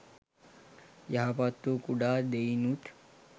යහපත්වූ කුඩා දෙයිනුත්